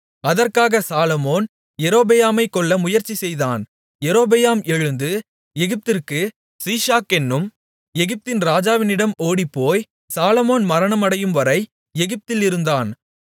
அதற்காக சாலொமோன் யெரொபெயாமைக் கொல்ல முயற்சி செய்தான் யெரொபெயாம் எழுந்து எகிப்திற்கு சீஷாக் என்னும் எகிப்தின் ராஜாவினிடம் ஓடிப்போய் சாலொமோன் மரணமடையும்வரை எகிப்தில் இருந்தான்